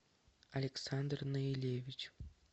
александр наилевич